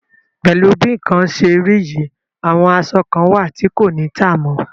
Pẹ̀lú bí nǹkan ṣe rí yìí, àwọn aṣọ kan wà tí kò ní tà mọ́.